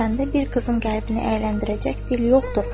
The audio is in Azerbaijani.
Çünki səndə bir qızın qəlbini əyləndirəcək dil yoxdur.